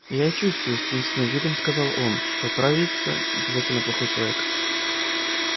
и я чувствую с таинственным видом сказал он что отравится обязательно плохой человек